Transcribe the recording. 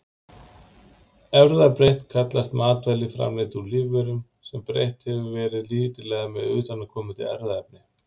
Erfðabreytt kallast matvæli framleidd úr lífverum, sem breytt hefur verið lítillega með utanaðkomandi erfðaefni.